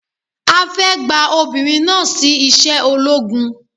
A fẹ́ gba obìnrin náà sí iṣẹ́ ológun